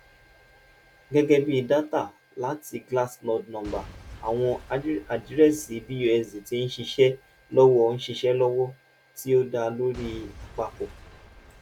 gẹgẹbi data lati glassnode nọmba awọn adirẹsi busd ti nṣiṣe lọwọ nṣiṣe lọwọ ti o da lori apapọ